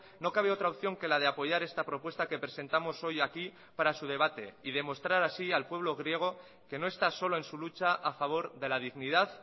no cabe otra opción que la de apoyar esta propuesta que presentamos hoy aquí para su debate y demostrar así al pueblo griego que no está solo en su lucha a favor de la dignidad